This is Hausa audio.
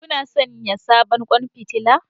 Kuna sayen sabon kwan fitila?